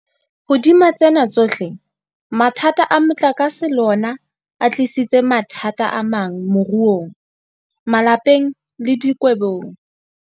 Hodima tsena tsohle, mathata a motlakase le ona a tlisitse mathata amang moruong, malapeng le dikgwebong.